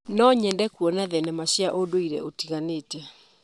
No nyende kuona thenema cia ũndũire ũtiganĩte.